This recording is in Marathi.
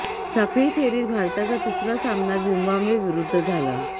साखळी फेरीत भारताचा तिसरा सामना झिंम्बावे विरुध्द झाला